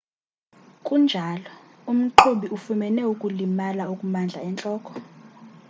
kunjalo umqhubi ufumene ukulimala okumandla entloko